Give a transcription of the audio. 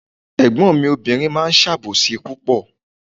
Ègbón mi obìnrin máa ń sàbòsí púpọ̀